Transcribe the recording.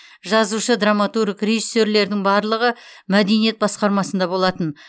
жазушы драматург режиссерлердің барлығы мәдениет басқармасында болатын